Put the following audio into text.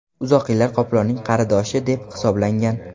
Uzoq yillar qoplonning qaridoshi deb hisoblangan.